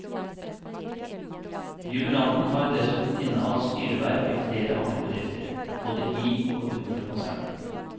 Jubilanten har dessuten innehatt styreverv i flere andre bedrifter, både i og utenfor konsernet.